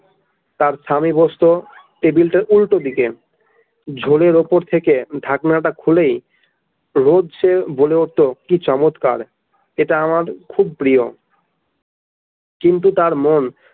তার স্বামী বসত table টার উল্টো দিকে ঝোলের উপর থেকে ঢাকনাটা খুলেই রোজ সে বলে উঠতো কি চমৎকার এটা আমার খুব প্রিয় কিন্তু আমার মন।